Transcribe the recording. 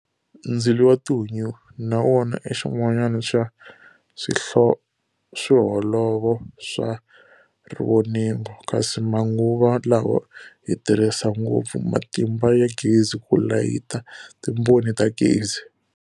Ndzilo wa tihunyi na wona ixin'wana xa swholovo swa rivoningo, kasi manguva lawa hi tirhisa ngopfu matimba ya gezi ku layitha timboni ta gezi.